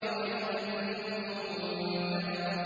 وَإِذَا النُّجُومُ انكَدَرَتْ